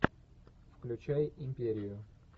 включай империю